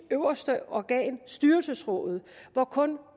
øverste organ styrelsesrådet hvor kun